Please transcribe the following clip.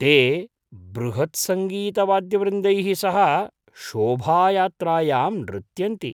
ते बृहत्सङ्गीतवाद्यवृन्दैः सह शोभायात्रायां नृत्यन्ति।